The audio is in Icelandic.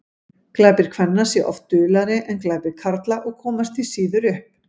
glæpir kvenna séu oft duldari en glæpir karla og komast því síður upp